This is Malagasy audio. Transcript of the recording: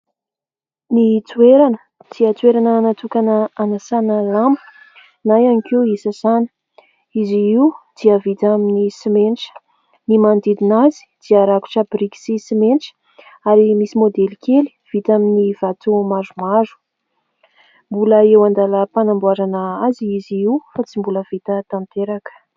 Ny toerana dia toerana natokana anasana lamba na ihany koa isasana. Izy io dia vita amin'ny simenitra. Ny manodidina azy dia rakotra biriky sy simenitra ary misy maodely kely vita amin'ny vato maromaro. Mbola eo an-dalam-panamboarana azy izy io fa tsy mbola vita tanteraka.